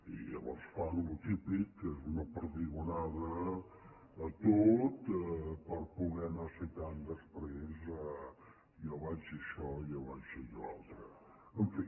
i llavors fan el que és típic que és una perdigonada a tot per poder anar citant després jo vaig dir això jo vaig dir allò altre en fi